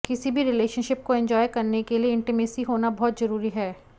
किसी भी रिलेशनशिप को एंजॉय करने के लिए इंटीमेसी होना बहुत जरुरी है